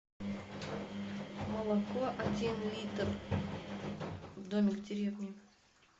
молоко один литр домик в деревне